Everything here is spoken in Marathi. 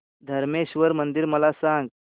धरमेश्वर मंदिर मला सांग